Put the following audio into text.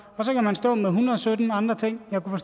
så kan man stå med en hundrede og sytten andre ting jeg kunne